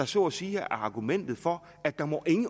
så at sige er argumentet for at der